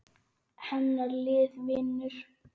Hennar lið vinnur.